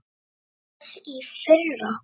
Varstu með í fyrra?